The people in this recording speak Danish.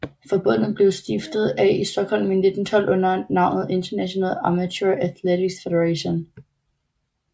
Forbundet blev stiftet af i Stockholm i 1912 under navnet International Amateur Athletics Federation